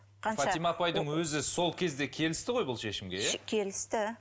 фатима апайдың өзі сол кезде келісті ғой бұл шешімге иә келісті